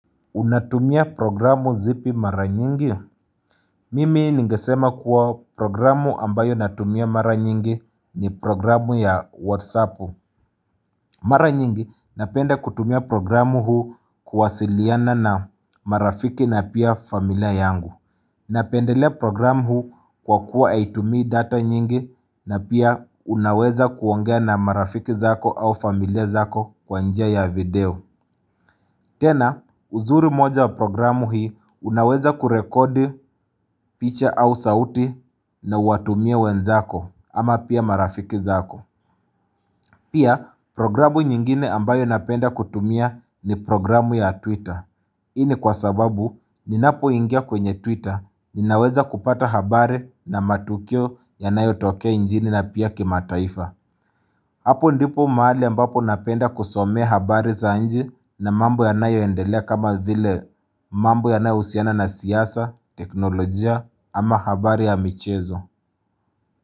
Unatumia programu zipi mara nyingi? Mimi ningesema kuwa programu ambayo natumia mara nyingi ni programu ya WhatsApp. Mara nyingi napenda kutumia programu huu kuwasiliana na marafiki na pia familia yangu. Napendelea programu huu kwa kuwa haitumii data nyingi na pia unaweza kuongea na marafiki zako au familia zako kwa njia ya video. Tena, uzuri moja wa programu hii unaweza kurekodi picha au sauti na uwatumie wenzako ama pia marafiki zako. Pia, programu nyingine ambayo napenda kutumia ni programu ya Twitter. Hii ni kwa sababu, ninapo ingia kwenye Twitter, ninaweza kupata habari na matukio yanayo tokea nchini na pia kimataifa. Hapo ndipo mahali ambapo napenda kusomea habari za nchi na mambo yanayo endelea kama vile mambo yanayo husiana na siasa, teknolojia ama habari ya michezo.